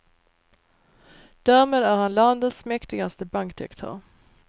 Därmed är han landets mäktigaste bankdirektör.